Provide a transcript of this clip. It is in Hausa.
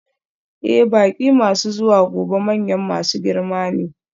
Ee, baƙi masu zuwa gobe manyan masu girma ne.